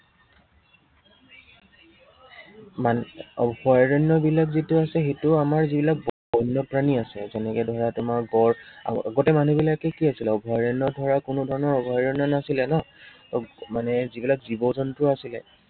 অভয়াৰণ্য়বিলাক যেতিয়া হৈছে, সেইটো আমাৰ যি বিলাক বন্য়প্ৰাণী আছে। যেনেকে ধৰা তোমাৰ গড়, আৰু গোটেই মানুহবিলাকে কি হৈছিলে অভয়াৰণ্য় ধৰা কোনো ধৰণৰ অভয়াৰণ্য় নাছিলে ন, ত মানে যি বিলাক জীৱ জন্তু আছিলে